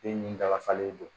Den nin dagafalen do